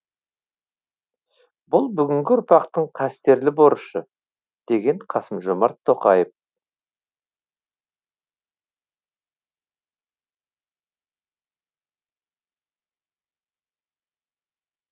бұл бүгінгі ұрпақтың қастерлі борышы деген қасым жомарт тоқаев